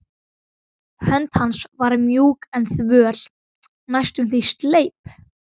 Hönd hans var mjúk en þvöl, næstum því sleip.